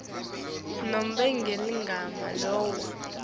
nobe ngeligama lawo